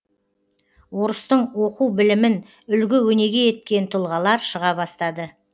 орыстың оқу білімін үлгі өнеге еткен тұлғалар шыға бастады